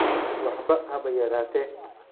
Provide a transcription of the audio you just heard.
Waxba haba yaraatee